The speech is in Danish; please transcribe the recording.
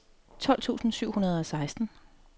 tolv tusind syv hundrede og seksten